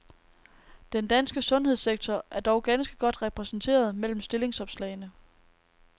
Den danske sundhedssektor er dog ganske godt repræsenteret mellem stillingsopslagene.